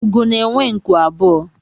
Úgò na-enwe nku abụọ